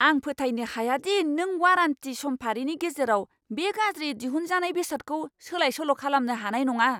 आं फोथायनो हाया दि नों वारेन्टी समफारिनि गेजेराव बे गाज्रियै दिहुनजानाय बेसादखौ सोलाय सोल' खालामनो हानाय नङा!